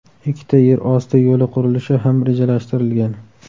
Ikkita yer osti yo‘li qurilishi ham rejalashtirilgan.